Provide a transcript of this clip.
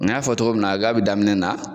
An y'a fɔ cogo min na ka bi daminɛ na